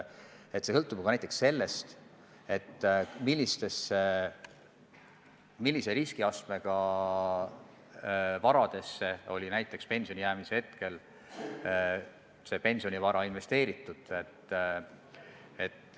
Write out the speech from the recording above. See sõltub ju ka näiteks sellest, millise riskiastmega varasse oli see pensionivara investeeritud.